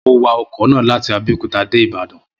Mo wa ọkọ̀ náà láti Abẹ́òkúta dé Ìbàdàn